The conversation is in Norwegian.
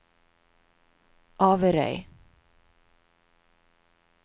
Averøy